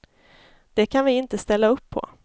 Det kan vi inte ställa upp på.